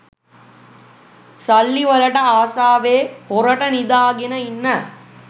සල්ලිවලට ආසාවෙ හොරට නිදාගෙන ඉන්න